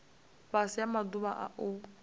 fhasi ha maḓuvha a u